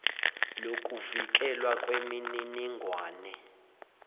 lokuvikelwa kweminining wane